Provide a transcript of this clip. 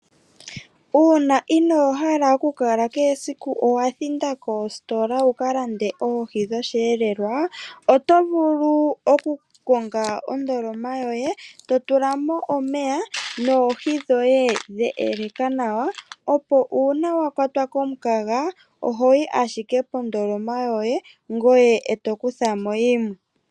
Uuna inoohala oku kala kehe siku owa thinda koositola wu kalande oohi dhosheelelwa, oto vulu oku konga ondoloma yoye, to tulamo omeya noohi dhoye dhe eleka nawa, opo uuna wakwatwa komukaga, oho yi ashike kondoloma yoye ye eto kuthamo yimwe.